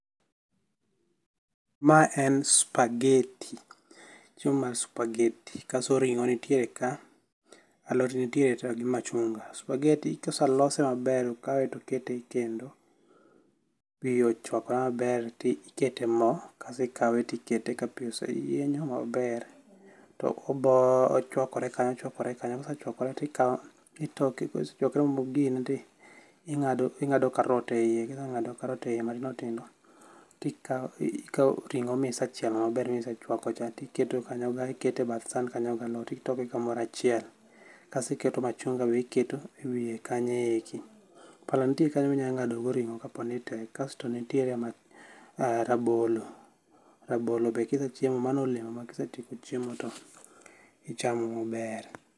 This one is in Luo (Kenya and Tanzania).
Ma en spageti, chiemo mar spageti kato ring'o nitiere ka, alot nitiere ka gi machunga. Supageti ka oseloso maber, okawe to ikete ekendo pi ochuakore maber to ikete mo kaeto ikawe to ikete kapi oseyienyo maber. To ochuakore kanyo ochuakore kanyo kose chuakore to ikawo itoke bas kisetoke mogine to ng'ado karot eiye ka iseng'ado karot eiye matindo tindo to ikawo ikawo ring'o misechielo manber misechuako cha tom iketo kanyo iketo e bath san kanyo to itokogi kamoro achiel. Kasto iketo machunga be iketo ewiye kanyo. Pala nitie kanyo ma inya ng'adogo ring'o kopo ni tek, kasto nenitiere rabolo rabolo be kisechiemo mano olemo makise tieko chiemo to ichamo maber.